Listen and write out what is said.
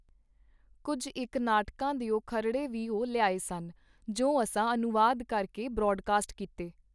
ਕੁੱਝ ਇਕ ਨਾਟਕਾਂ ਦਿਓ ਖਰੜੇ ਵੀ ਉਹ ਲਿਆਏ ਸਨ, ਜੋ ਅਸਾਂ ਅਨੁਵਾਦ ਕਰਕੇ ਬ੍ਰਾਡਕਾਸਟ ਕੀਤੇ.